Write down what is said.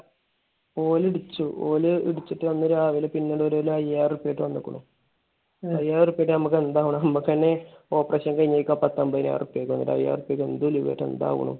ഓനെ ഇടിച്ചു. ഓനെ ഇടിച്ചിട്ട് അന്ന് രാവിലെ പിന്നെ ഒരു അയ്യായിരം റുപിയ ആയിട്ട് വന്നേക്കണു. അയ്യായിരം റുപിയ ഒക്കെ നമുക്ക് എന്താവാനാ. നമുക്ക് തന്നെ operation കഴിഞ്ഞേക്ക പത്ത് അമ്പതിനായിരം റുപിയക്ക്. അയ്യായിരം റുപിയക്ക് എന്ത് ഉലുവയായിട്ട് എന്താവണു?